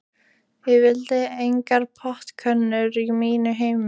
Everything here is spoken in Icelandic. Ég vil engar portkonur á mínu heimili.